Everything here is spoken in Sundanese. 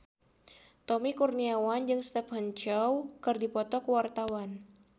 Tommy Kurniawan jeung Stephen Chow keur dipoto ku wartawan